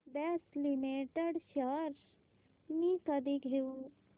Bosch limited shares मी कधी घेऊ